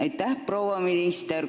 Aitäh, proua minister!